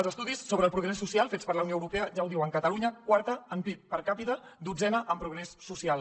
els estudis sobre el progrés social fets per la unió europea ja ho diuen catalunya quarta en pib per capita dotzena en progrés social